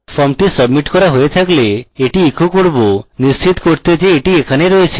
ফর্মটি submit করা হয়ে থাকলে আমি এটি echo করব নিশ্চিত করতে যে এটি এখানে রয়েছে